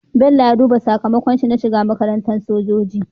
Bello ya duba sakamakon shi na shiga makarantar sojoji